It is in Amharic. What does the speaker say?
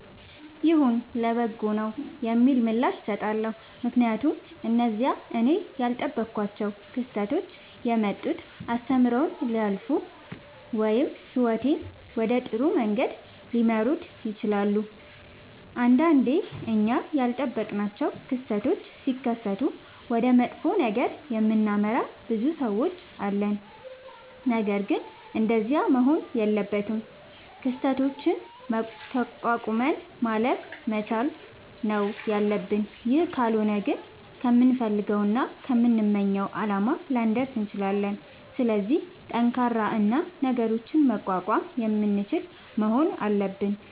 ይሁን ለበጎ ነዉ የሚል ምላሽ እሠጣለሁ። ምክንያቱም እነዚያ እኔ ያልጠበኳቸዉ ክስተቶች የመጡት አስተምረዉኝ ሊያልፉ ወይም ህይወቴን ወደ ጥሩ መንገድ ሊመሩት ይችላሉ። ንዳንዴ እኛ ያልጠበቅናቸዉ ክስተቶች ሢከሠቱ ወደ መጥፎ ነገር የምናመራ ብዙ ሠዎች አለን። ነገርግን እንደዚያ መሆን የለበትም። ክስተቶችን ተቋቁመን ማለፍ መቻል ነዉ ያለብን ይህ ካልሆነ ግን ከምንፈልገዉና ከምንመኘዉ አላማ ላንደርስ እንችላለን። ስለዚህ ጠንካራ እና ነገሮችን መቋቋም የምንችል መሆን አለብን።